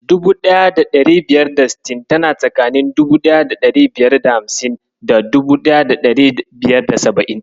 1560 tana tsakanin 1550 da 1570.